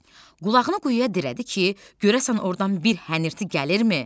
Qulağını quyuya dirədi ki, görəsən ordan bir hənirti gəlirmi?